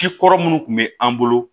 Cikɔrɔ munnu kun bɛ an bolo